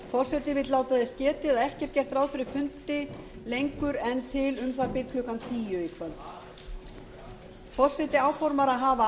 forseti vill láta þess getið að ekki er gert ráð fyrir fundi lengur en til um það bil til klukkan tíu í kvöld forseti áformar að hafa